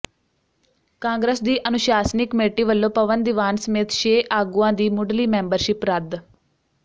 ਕਾਂਗਰਸ ਦੀ ਅਨੁਸ਼ਾਸਨੀ ਕਮੇਟੀ ਵੱਲੋਂ ਪਵਨ ਦੀਵਾਨ ਸਮੇਤ ਛੇ ਆਗੂਆਂ ਦੀ ਮੁੱਢਲੀ ਮੈਂਬਰਸ਼ਿਪ ਰੱਦ